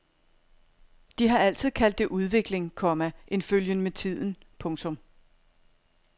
De har altid kaldt det udvikling, komma en følgen med tiden. punktum